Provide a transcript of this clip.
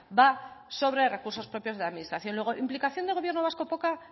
va sobre recursos propios de la administración luego implicación de gobierno vasco poca